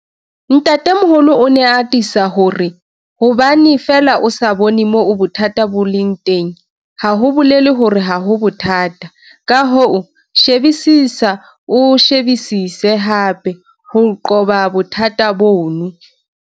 Ntatemoholo o ne a atisa ho re- 'Hobane feela o sa bone moo bothata bo leng teng, ha ho bolele hore ha ho bothata...ka hoo, shebisisa, o shebisise hape ho qoba bothata bono.'